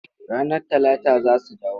Ranar Talata za su dawo.